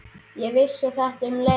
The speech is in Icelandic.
Ég vissi þetta um leið.